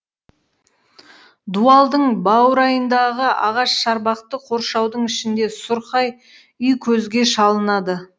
дуалдың баурайындағы ағаш шарбақты қоршаудың ішінде сұрқай үй көзге шалынады